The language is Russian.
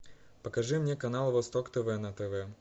покажи мне канал восток тв на тв